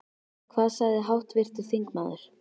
Hvað sagði háttvirtur þingmaður?